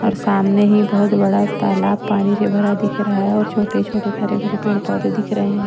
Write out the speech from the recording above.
और सामने ही बहुत बड़ा तालाब पानी से भरा दिख रहा है और छोटे छोटे हरे भरे पेड़ पौधे दिख रहे हैं।